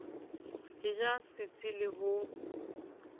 e ja setsi le ho